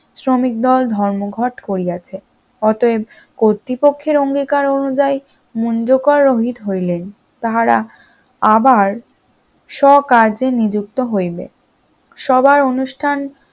শ্রমিক দল ধর্মঘট করিয়াছে, অতএব কর্তৃপক্ষের অঙ্গীকার অনুযায়ী মুঞ্জ কর রহিত হইলে তাহারা আবার সকার্যে নিযুক্ত হইবে, সভার অনুষ্ঠান